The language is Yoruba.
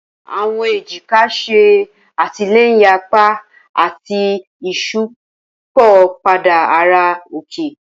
Awọn ejika ṣe atilẹyin apa ati iṣipopada ara oke.